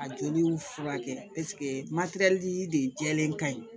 A joliw furakɛ de jɛlen kaɲi